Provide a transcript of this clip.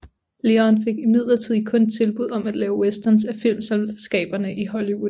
Leone fik imidlertid kun tilbud om at lave westerns af filmselskaberne i Hollywood